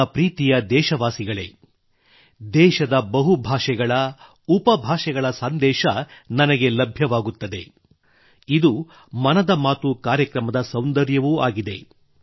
ನನ್ನ ಪ್ರೀತಿಯ ದೇಶವಾಸಿಗಳೇ ದೇಶದ ಬಹು ಭಾಷೆಗಳು ಉಪಭಾಷೆಗಳ ಸಂದೇಶ ನನಗೆ ಲಭ್ಯವಾಗುತ್ತದೆ ಇದು ಮನದ ಮಾತು ಕಾರ್ಯಕ್ರಮದ ಸೌಂದರ್ಯವೂ ಆಗಿದೆ